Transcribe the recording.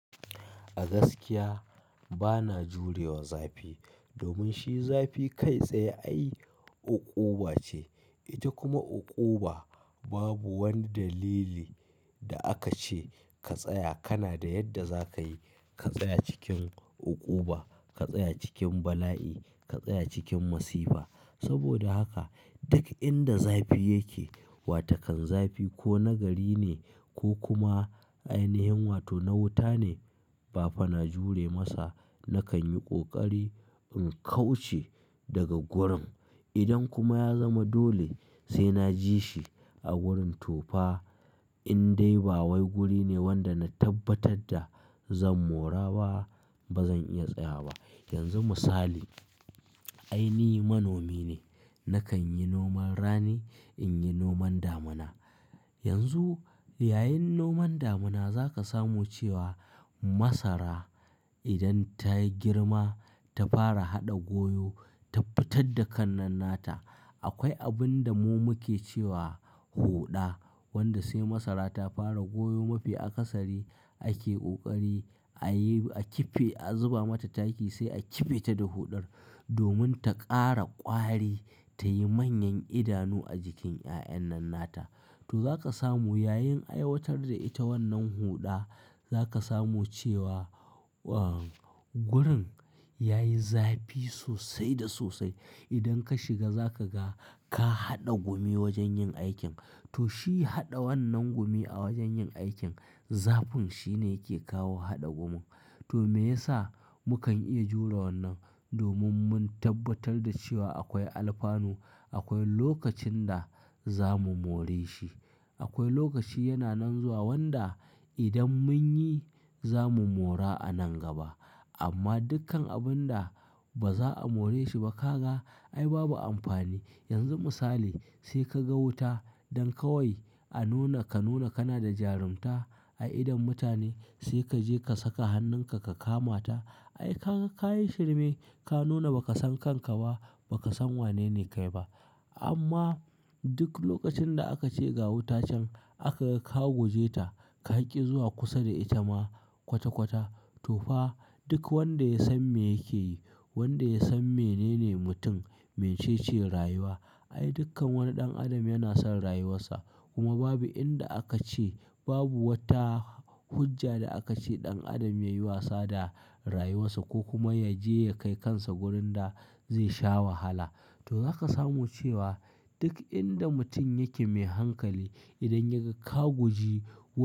A gaskiya bana jurewa zafi domin shi zafi kai tsaye ai uƙuɓa ce. Ita kuma uƙuɓa babu wani dalili da aka ce ka tsaya, kana da yadda za ka yi, ka tsaya cikin uƙuɓa, ka tsaya cikin bala'i, ka tsaya cikin masifa. Saboda aka duk inda zafi yake, wato kan zafi ko na gari ne, ko kuma ainiyin wato na wuta ne, ba fa na jure masa. Nakan yi ƙoƙari in kauce daga gurin. Idan kuma ya zama dole sai na ji shi a wurin tofa, in dai ba wai guri ne wanda na tabbatar da zan mora ba, ba zan iya tsaya ba. Yanzu misali, ai ni manomi ne. Nakan yi noman rani, in yi noman damuna. Yanzu yayin noman damuna za ka samu cewa masara idan ta yi girma ta fara haɗa goyo, ta fittar da ƙan nan nata, akwai abun da mu muke cewa huɗa wanda sai masara ta fara goyo mafi akasari ake kokari, ayi akiffe, a zuba mata taki sai a kiffe ta da hodar domin ta ƙara ƙwari, ta yi manyan idanu a jikin 'ya'yan nan nata. To za ka samu yayin aiwatar da ita wannan huɗa za ka samu cewa, uh, gurin ya yi zafi sosai da sosai. Idan ka shiga za ka ga ka haɗa gumi wajen yin aikin. To shi haɗa wannan gumi a wajen yin aikin, zafin shine yake kawo haɗa gumin. To me yasa mukan iya jure wannan? Domin mun tabbatar da cewa akwai alfanu, akwai lokacin da za mu more shi. Akwai lokaci yana nan zuwa wanda idan mun yi za mu mora a nan gaba. Amma dukkan abin da ba za a more shi ba ka ga ai babu amfani. Yanzu misali sai ka ga wuta don kawai a nuna ka nuna kana da jarunta a idon mutane sai ka je ka saka hannunka ka kama ta. Ai kan, ka yi shirme, ka nuna ba ka san kanka ba, ba ka san wanene kai ba. Amma duk lokacin da aka ce ga wuta can aka ga ka guje ta, ka ƙi zuwa kusa da ita ma kwata kwata, to fa duk wanda ya san me yake yi, wanda ya san menene mutum, me ce ce rayuwa, ai dukkan wani ɗan adam yana son rayuwarsa. Kuma babu inda aka ce babu wata hujja da aka ce ɗan adam ya yi wasa da rayuwarsa ko kuma ya je ya kai kansa wurin da zai sha wahala. To za ka samu cewa duk inda mutum yake mai hankali idan ya ka guji ku-